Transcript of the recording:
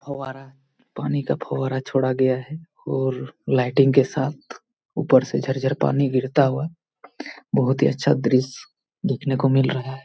फव्वारा पानी का फव्वारा छोड़ा गया है और लाइटिंग के साथ ऊपर से झर झर पानी गिरता हुआ बहुत ही अच्छा दृश्य देखने को मिल रहा है।